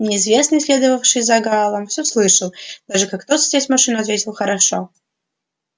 неизвестный следовавший за гаалом всё слышал даже как тот садясь в машину ответил хорошо